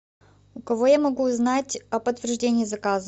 у кого я могу узнать о подтверждении заказа